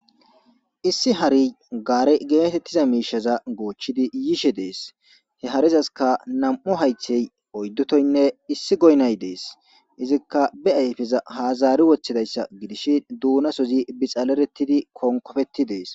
Issi harey garre getetizza misha gochidi yishe dees he harezasikka nam'u haythe oydu tohoynne issi goynay dees izikka beayffeza ha zari wothidi donasozzi bixaleretidi konkopeti dees.